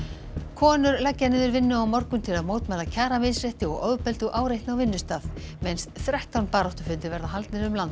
konur leggja niður vinnu á morgun til að mótmæla kjaramisrétti og ofbeldi og áreitni á vinnustað minnst þrettán baráttufundir verða haldnir um land